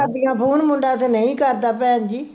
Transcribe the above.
ਕਰਦੀਆਂ ਫੋਨ, ਮੁੰਡਾ ਤੇ ਨਹੀਂ ਕਰਦਾ ਭੈਣਜੀ